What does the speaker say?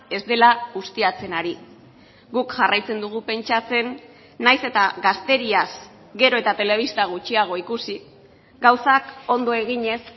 ez dela ustiatzen ari guk jarraitzen dugu pentsatzen nahiz eta gazteriaz gero eta telebista gutxiago ikusi gauzak ondo eginez